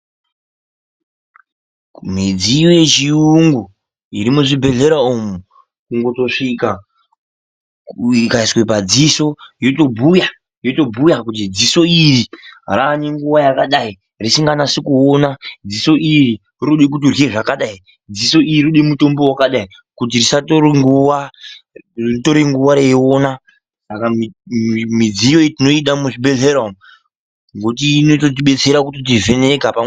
Midziyo yechiyungu iri muzvibhedhlera umwu, kungotosvika, ikaiswe padziso yotobhuya, yotobhuya kuti dziso iri raane nguwa yakadai risinganasi kuona, dziso iri rinode kuti urye zvakadai, dziso iri rinode mitombo yakadai, kuti ritore nguwa reiona. Saka midziyo iyi tinotoida muzvibhebhedhlera umwu, ngekuti inotidetsera kuti vheneka.